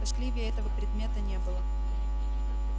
тоскливее этого предмета не было